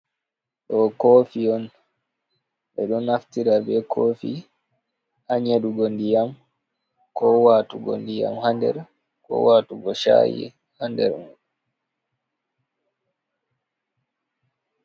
Ɗo kofi on ɓe ɗo naftira be kofi ha nyedugo ndiyam ko watugo ndiyam ha nder ko watugo shayi ha nder mai.